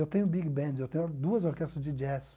Eu tenho big bands, eu tenho duas orquestras de jazz.